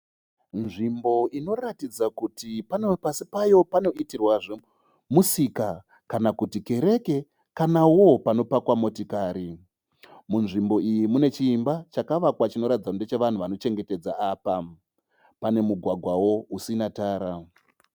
Nzvimbo inoratidza kuti pasi payo panoitirwa zvemusika kana kuti kereke kanawo panopakwa motokari, munzvimbo iyi munechimba chakavakwa chinoratidza kuti ndechevanhu vandochengeta apa. Pane mugwagwawo usina tara.